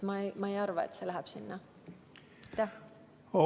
Ma ei arva, et see läheb.